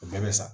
O bɛɛ bɛ sa